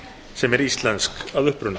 sem er íslensk að uppruna